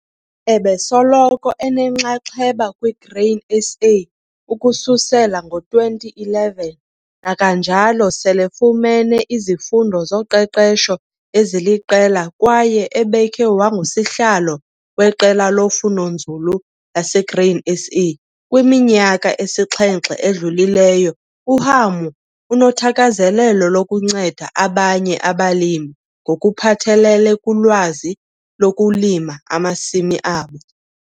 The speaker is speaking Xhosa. Ebesoloko enenxaxheba kwiGrain SA ukususela ngo-2011 nakanjalo selefumene izifundo zoqeqesho eziliqela kwaye ebekhe wangusihlalo weQela loFundonzulu laseGrain SA kwiminyaka esixhenxe edlulileyo. UHamu unothakazelelo lokunceda abanye abalimi ngokuphathelele kulwazi ngokulima amasimi abo.